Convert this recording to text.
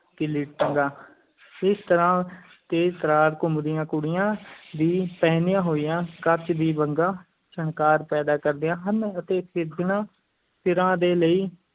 ਕਿੱਲੀ ਟੰਗਾ, ਇਸ ਤਰ੍ਹਾਂ ਤੇਜ਼-ਤਰਾਰ ਘੁੰਮਦੀਆਂ ਕੁੜੀਆਂ ਦੀ ਪਹਿਨੀਆਂ ਹੋਈਆਂ ਕੱਚ ਦੀਆਂ ਵੰਗਾਂ ਛਣਕਾਰ ਪੈਦਾ ਕਰਦੀਆਂ ਹਨ ਅਤੇ ਸਿਰਜਣਾ ਸਿਰਾਂ ਦੇ ਲਈ